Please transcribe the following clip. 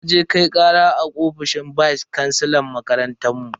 Naje Kai kara a ofishin vice kansilan makarantar mu.